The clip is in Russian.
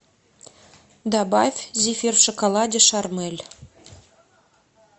добавь зефир в шоколаде шармэль